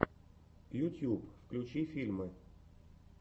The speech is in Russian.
ютьюб включи фильмы